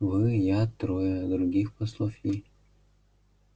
вы я трое других послов и